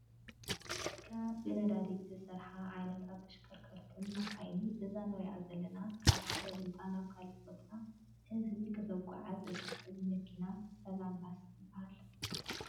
ካብ ብነዳዲ ዝሰርሓ ዓይነታት ተሽከርከርትን መካይን እዛ እነሪኣ ዘለና ካብ ሓደ ቦታ ናብ ካሊእ ቦታ ህዝቢ ክተጉዓዕዝ እትክእል መኪና ሰላም ባስ ትበሃል።